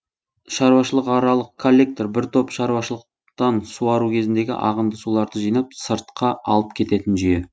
шаруашылықаралық коллектор бір топ шаруашылықтан суару кезіндегі ағынды суларды жинап сыртқа алып кететін жүйе